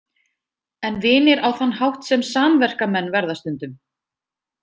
En vinir á þann hátt sem samverkamenn verða stundum.